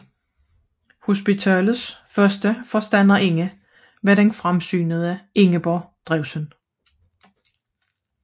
Hospitalets første forstanderinde var den fremsynede Ingeborg Drewsen